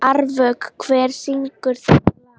Árvök, hver syngur þetta lag?